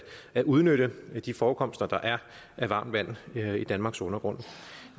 at udnytte de forekomster af varmt vand der er i danmarks undergrund